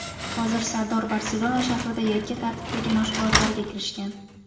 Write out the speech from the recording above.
Hozir Sardor Barselona shahrida yakka tartibdagi mashg‘ulotlarga kirishgan.